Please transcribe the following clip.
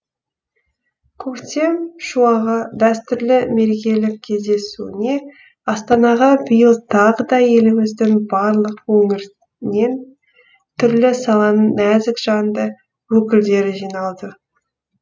көктем шуағы дәстүрлі мерекелік кездесуіне астанаға биыл тағы да еліміздің барлық өңірінен түрлі саланың нәзік жанды өкілдері жиналды